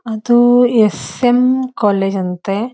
ಅದು S M college ಅಂತೇ --